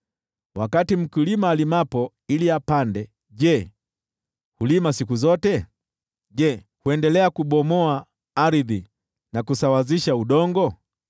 Wakati mkulima alimapo ili apande, je, hulima siku zote? Je, huendelea kubomoa ardhi na kusawazisha udongo?